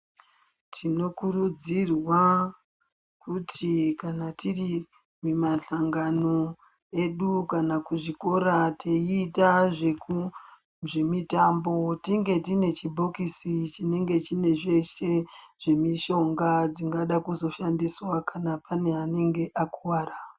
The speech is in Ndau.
Tinokurudzirwa kuti kana tiri kumahlangano edu kana kuzvikora teiita zvemitambo tinge tine chibhokisi chinenge chine zveshe zvemishonga zvingada kuzoshandiswa kana kune anenge akuwara.